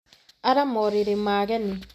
Ara maũrĩrĩ ma ageni